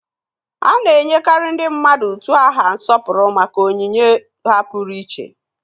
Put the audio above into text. A na-enyekarị ndị mmadụ utu aha nsọpụrụ maka onyinye ha pụrụiche